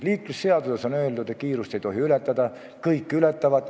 Liiklusseaduses on öeldud, et kiirust ei tohi ületada, aga kõik ületavad.